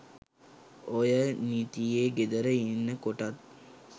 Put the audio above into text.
ඔය නීතියේ ගෙදර ඉන්න කොටත්